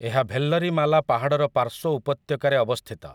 ଏହା ଭେଲ୍ଲରିମାଲା ପାହାଡ଼ର ପାର୍ଶ୍ୱ ଉପତ୍ୟକାରେ ଅବସ୍ଥିତ ।